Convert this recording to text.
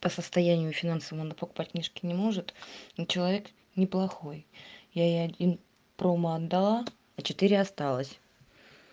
по состоянию финансовому он покупать книжки не может но человек неплохой я ей один промо отдала а четыре осталось